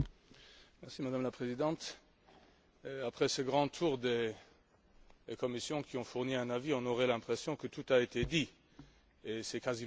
Madame la Présidente, après ce grand tour des commissions qui ont fourni un avis, on aurait l'impression que tout a été dit, et c'est quasiment vrai.